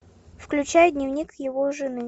включай дневник его жены